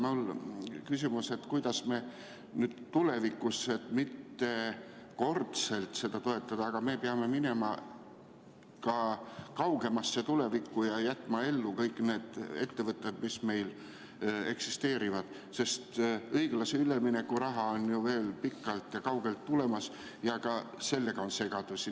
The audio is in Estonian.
Mul on küsimus, et kuidas me nüüd tulevikus, et mitte ühekordselt seda toetada, aga me peame minema ka kaugemasse tulevikku ja jätma ellu kõik need ettevõtted, mis meil eksisteerivad, sest õiglase ülemineku raha on ju veel pikalt ja kaugelt tulemas ja ka sellega on segadusi.